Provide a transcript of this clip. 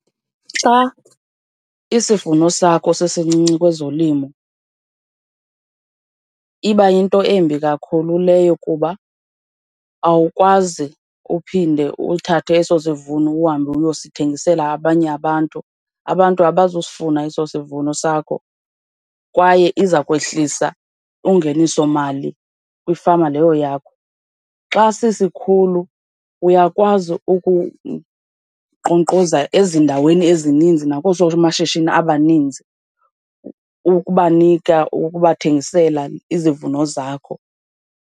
Xa isivuno sakho sisincinci kwezolimo iba yinto embi kakhulu leyo kuba awukwazi uphinde uthathe eso sivuno uhambe uyosithengisela abanye abantu. Abantu abazusifuna eso sivuno sakho, kwaye iza kwehlisa ungenisomali kwifama leyo yakho. Xa sisikhulu uyakwazi ukunkqonkqoza ezindaweni ezininzi nakoosomashishini abaninzi, ukubanika, ukubathengisela izivuno zakho.